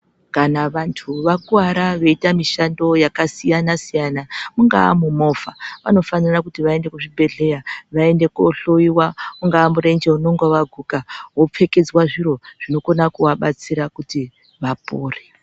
Kana vantu vakuwara veita mishando yakasiyana siyana ingava mumovha vanofanira kuti vaende kuzvibhedhlera vaende kohloiwa ungava murenje unenge wadambuka wopfekedzwa zviro zvinokona kuvabatsira kuti vapore.